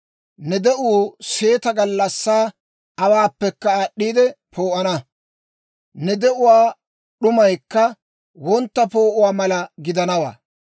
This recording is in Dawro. Ne de'uu seeta gallassaa awaappekka aad'd'iide poo'ana; ne de'uwaa d'umaykka wontta poo'uwaa mala gidanawaa.